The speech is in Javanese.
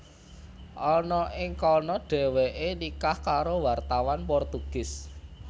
Ana ing kana Dhèwèké nikah karo wartawan Portugis